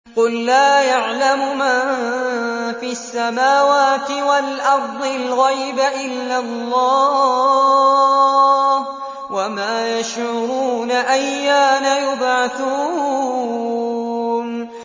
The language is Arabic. قُل لَّا يَعْلَمُ مَن فِي السَّمَاوَاتِ وَالْأَرْضِ الْغَيْبَ إِلَّا اللَّهُ ۚ وَمَا يَشْعُرُونَ أَيَّانَ يُبْعَثُونَ